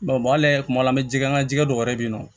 ale kuma la an bɛ jɛgɛ an ka jɛgɛ dɔw yɛrɛ bɛ yen nɔ